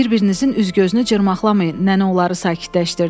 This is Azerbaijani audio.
Bir-birinizin üz-gözünü cırmaqlamayın, nənə onları sakitləşdirdi.